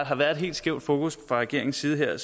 har været et helt skævt fokus fra regeringens side her